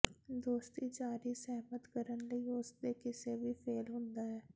ਦੋਸਤੀ ਜਾਰੀ ਸਹਿਮਤ ਕਰਨ ਲਈ ਉਸ ਦੇ ਕਿਸੇ ਵੀ ਫੇਲ ਹੁੰਦਾ ਹੈ